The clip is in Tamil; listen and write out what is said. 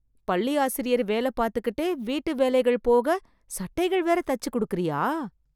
பள்ளி ஆசிரியர் வேல பார்த்துகிட்டே, வீட்டுவேலைகள் போக, சட்டைகள் வேற தச்சுக் கொடுக்கறியா....